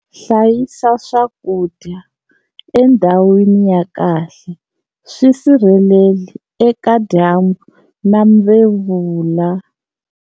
Hlayisa swakudya endhawini ya kahle-swi sirheleri eka dyambu na mvevula.